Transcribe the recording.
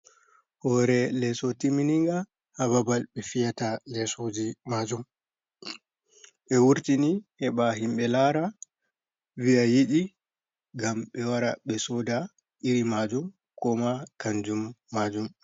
Hore leso timininga ha babal ɓe fiyata lesoje majum, ɓe wurtini heɓa himɓe lara viya yiɗi ngam ɓe wara ɓe soda iri majum, koma kanjum majum.